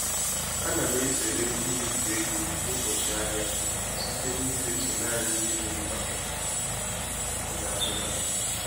Ana m ezere imefu ego n'ụbọchị ahịa site na idetu naanị ihe di mkpa m ga azụta